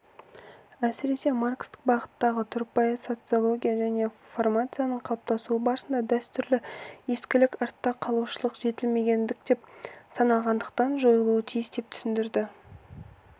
әсіресе маркстік бағыттағы тұрпайы социология жаңа формацияның қалыптасуы барысында дәстүр ескілік артта қалушылық жетілмегендік деп саналғандықтан жойылуы тиіс деп түсіндірді